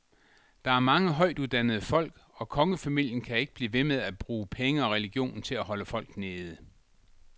Der er mange højtuddannede folk, og kongefamilien kan ikke blive ved med at bruge penge og religionen til at holde folk nede.